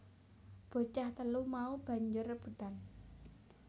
Bocah telu mau banjur rebutan